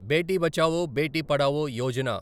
Beti Bachao, Beti Padhao Yojana